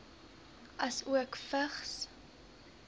asook vigs